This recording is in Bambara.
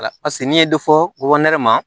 Wala paseke n'i ye dɔ fɔ ma